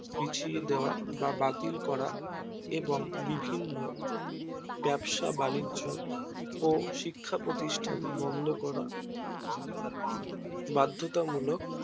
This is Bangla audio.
পিছিয়ে দেওয়া বা বাতিল করা এবং বিভিন্ন ব্যবসা বাণিজ্য ও শিক্ষা প্রতিষ্ঠান বন্ধ করা বাদ্ধতামূলক